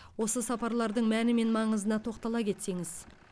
осы сапарлардың мәні мен маңызына тоқтала кетсеңіз